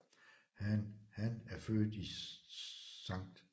Han Han er født i St